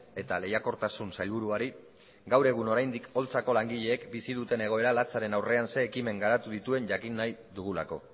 eta lehiakortasun sailburuari gaur egun oraindik holtzako langileek bizi duten egoera latzaren aurrean zein ekimen garatu dituen jakin nahi dugulako